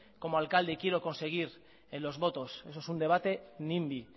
como alcalde y quiero conseguir los votos eso es un debate nimby